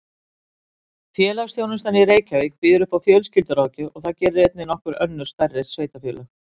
Félagsþjónustan í Reykjavík býður upp á fjölskylduráðgjöf og það gera einnig nokkur önnur stærri sveitarfélög.